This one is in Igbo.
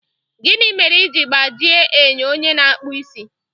Gịnị mere i ji gbajie enyo onye na-akpụ isi?